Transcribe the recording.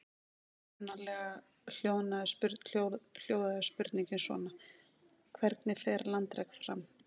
Upprunalega hljóðaði spurningin svona: Hvernig fer landrek fram?